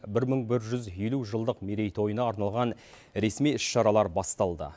бір мың бір жүз елу жылдық мерейтойына арналған ресми іс шаралар басталды